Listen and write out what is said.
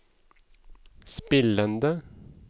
spillende